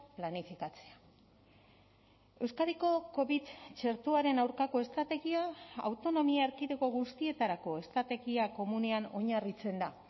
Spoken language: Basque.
planifikatzea euskadiko covid txertoaren aurkako estrategia autonomia erkidego guztietarako estrategia komunean oinarritzen da